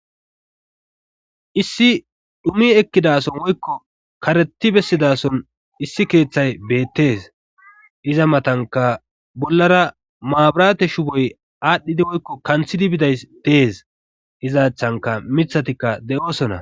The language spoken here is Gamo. issi dhumi ekkidason woykko kareti bessidason issi keeththay beettees iza matanka bollara maaburate shuboy aadhdhidi woykko kanthidi bidays dees izaachchanka mithatikka de7oosona